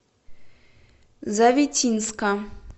завитинска